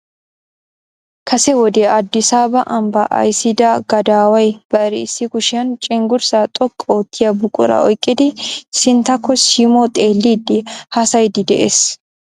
Kase wode Addisaaba ambba ayssiida gadaaway bari issi kushiyaan cenggurssa xoqqi oottiya buquraa oyqqiidi sintyakko simmo xeellidi haassayyiidi de'ees .